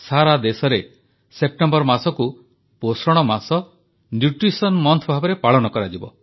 ସାରା ଦେଶରେ ସେପ୍ଟେମ୍ବର ମାସକୁ ପୋଷଣ ମାସ ଭାବରେ ପାଳନ କରାଯିବ